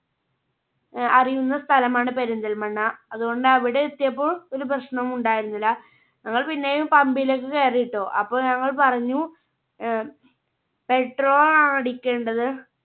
അഹ് അറിയുന്ന സ്ഥലമാണ് പെരിന്തൽമണ്ണ അതുകൊണ്ട് അവിടെ എത്തിയപ്പോ ഒരു പ്രശ്നവും ഉണ്ടായിരുന്നില്ല. ഞങ്ങൾ പിന്നെയും Pumb ലൊക്കെ കേറിയിട്ടോ അപ്പോൾ ഞങ്ങൾ പറഞ്ഞു അഹ് Petrol ആണ് അടിക്കേണ്ടത്